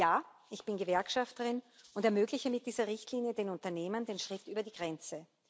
Ja, ich bin Gewerkschafterin und ermögliche mit dieser Richtlinie den Unternehmen den Schritt über die Grenze.